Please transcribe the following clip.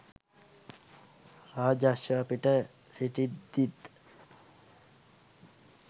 රාජ අශ්වයා පිට සිටිද්දීත්